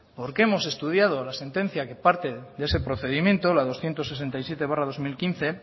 porque hemos estudiado la sentencia que parte de ese procedimiento la doscientos sesenta y siete barra dos mil quince